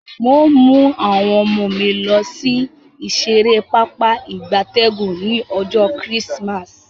N o mu awon omo mi losi ibi isere papa igabtegun ni ojo Chrismas